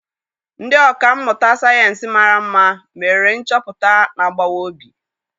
Ndị ọkà mmụta sayensị mara mma mere nchọpụta na-agbawa obi.